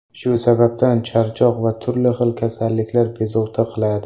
Shu sababdan, charchoq va turli xil kasalliklar bezovta qiladi.